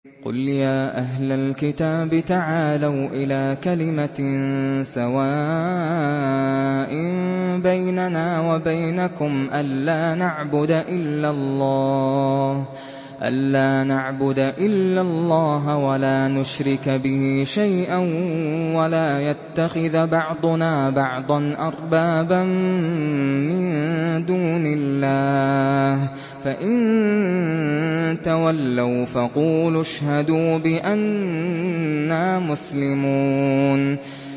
قُلْ يَا أَهْلَ الْكِتَابِ تَعَالَوْا إِلَىٰ كَلِمَةٍ سَوَاءٍ بَيْنَنَا وَبَيْنَكُمْ أَلَّا نَعْبُدَ إِلَّا اللَّهَ وَلَا نُشْرِكَ بِهِ شَيْئًا وَلَا يَتَّخِذَ بَعْضُنَا بَعْضًا أَرْبَابًا مِّن دُونِ اللَّهِ ۚ فَإِن تَوَلَّوْا فَقُولُوا اشْهَدُوا بِأَنَّا مُسْلِمُونَ